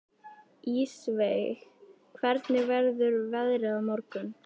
Ísveig, hvernig verður veðrið á morgun?